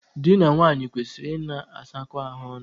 Dị na nwaanyị kwesịrị ịna asakọ ahụ ọnụ.